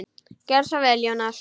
Gerðu svo vel, Jónas!